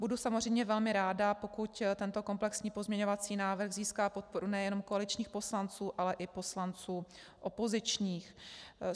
Budu samozřejmě velmi ráda, pokud tento komplexní pozměňovací návrh získá podporu nejenom koaličních poslanců, ale i poslanců opozičních.